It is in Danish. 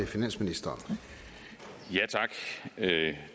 finansministeren af